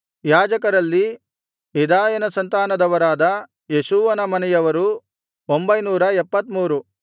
ಯಾಜಕರಲ್ಲಿ ಯೆದಾಯನ ಸಂತಾನದವರಾದ ಯೇಷೂವನ ಮನೆಯವರು 973